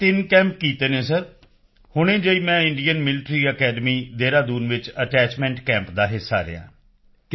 ਮੈਂ 3 ਕੈਂਪ ਕੀਤੇ ਹਨ ਸਰ ਹੁਣੇ ਜਿਹੇ ਹੀ ਮੈਂ ਇੰਡੀਅਨ ਮਿਲੀਟਰੀ ਅਕੈਡਮੀ ਦੇਹਰਾਦੂਨ ਵਿੱਚ ਅਟੈਚਮੈਂਟ ਕੈਂਪ ਦਾ ਹਿੱਸਾ ਰਿਹਾ ਹਾਂ